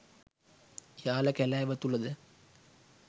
යාල කැලෑව තුළද